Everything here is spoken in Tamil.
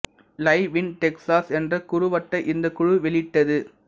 லைவ் இன் டெக்சாஸ் என்ற குறுவட்டை இந்தக் குழு வெளியிட்டது